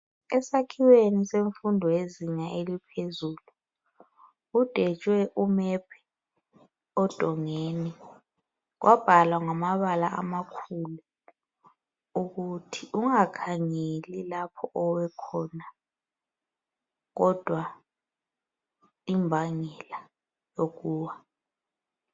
Esakhiweni semfundo yezinga eliphezulu kudwetshiwe imap odongeni kwabhalwa ngamabala amakhulu ukuthi ungakhangeli lapho owekhona kodwa imbangela yokuwa.